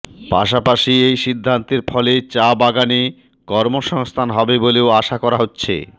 পাশাপাশি এই সিদ্ধান্তের ফলে চা বাগানে কর্ম সংস্থান হবে বলেও আশা করা হচ্ছে